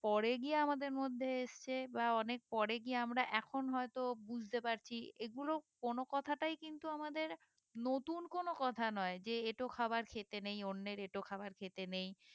পরে গিয়ে আমাদের মধ্যে এসেছে বা অনেক পরে গিয়ে আমরা এখন হয়ে তো বুঝতে পারছি এগুলো কোনো কথাটাই কিন্তু আমাদের নতুন কোনো কথা নয় যে এঁঠো খাবার খেতে নেই অন্যের এঁঠো খাবার খেতে নেই